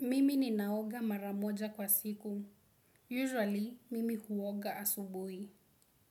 Mimi ninaoga maramoja kwa siku. Usually, mimi huoga asubuhi.